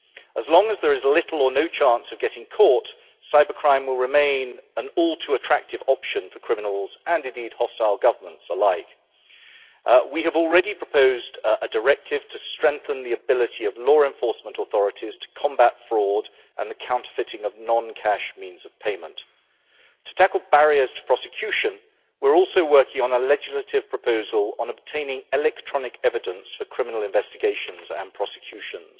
As long as there is little or no chance of getting caught, cybercrime will remain an all too attractive option for criminals and hostile governments alike. We have already proposed a directive to strengthen the ability of law enforcement authorities to combat fraud and the counterfeiting of non cash means of payment. To tackle barriers to prosecution, we are also working on a legislative proposal on obtaining electronic evidence for criminal investigations and prosecutions.